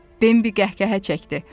Bembi qəhqəhə çəkdi.